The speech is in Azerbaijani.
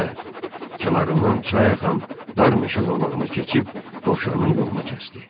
Və kənarından çay axan dar meşə zolağına keçib dovşanın yolunu kəsdi.